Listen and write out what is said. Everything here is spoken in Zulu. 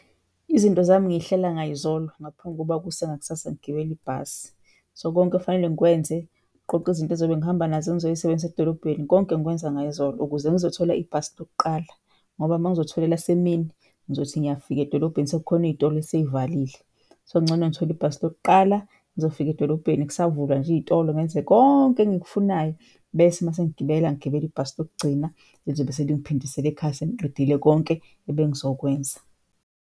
Izinto zami ngiyihlela ngayizolo ngaphambi kokuba kuse ngakusasa ngigebele ibhasi. So, konke okufanele ngikwenze, ukuqoqa izinto engizobe ngihamba nazo engizoy'sebenzisa edolobheni konke ngikwenza ngayizolo ukuze ngizothola ibhasi lokuqala ngoba mangizothola elasemini ngizothi ngiyafika edolobheni sekukhona iy'tolo esey'valile. So, kungcono ngithole ibhasi lokuqala ngizofika edolobheni kusavulwa nje iy'tolo ngenze konke engikufunayo bese masengigibela, ngigebele ibhasi lokugcina elizobe selingiphindisela ekhaya sengiqedile konke ebengizokwenza.